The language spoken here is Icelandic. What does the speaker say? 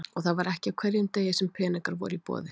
Og það var ekki á hverjum degi sem peningar voru í boði.